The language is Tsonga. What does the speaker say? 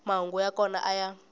mahungu ya kona a ya